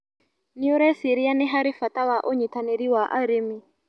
Nĩũreciria nĩ harĩ bata wa ũnyitanĩri wa arĩmi.